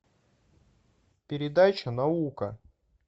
передача наука